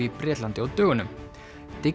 í Bretlandi á dögunum